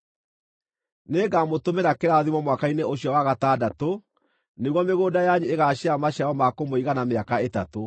Nĩngamũtũmĩra kĩrathimo mwaka-inĩ ũcio wa gatandatũ nĩguo mĩgũnda yanyu ĩgaaciara maciaro ma kũmũigana mĩaka ĩtatũ.